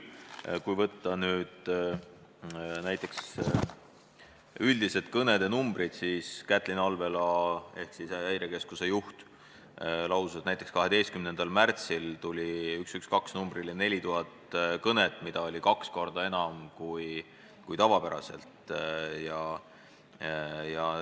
Aga võtame üldise kõnede arvu: Kätlin Alvela ehk siis Häirekeskuse juht lausus, et näiteks 12. märtsil tuli 112 numbrile 4000 kõnet, mida oli kaks korda enam kui tavapäraselt.